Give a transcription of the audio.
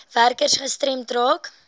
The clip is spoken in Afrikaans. werkers gestremd raak